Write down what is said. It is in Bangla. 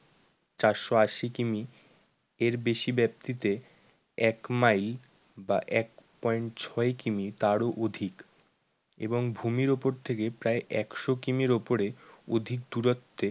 চারশো আশি কিমি এর বেশি ব্যাপ্তিতে এক মাইল বা এক point ছয় কিমি তারও অধিক। এবং ভূমির ওপর থেকে প্রায় একশো কিমির ওপরে অধিক দূরত্বে